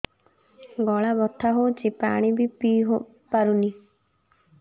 ଗଳା ବଥା ହଉଚି ପାଣି ବି ପିଇ ପାରୁନି